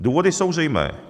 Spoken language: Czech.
Důvody jsou zřejmé.